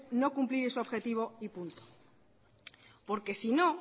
no cumplir ese objetivo y punto porque si no